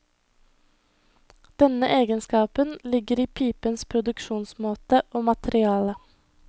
Denne egenskapen ligger i pipens produksjonsmåte og materiale.